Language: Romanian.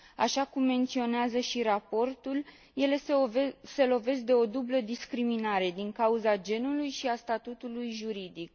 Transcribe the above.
Așa cum menționează și raportul, ele se lovesc de o dublă discriminare din cauza genului și a statutului juridic.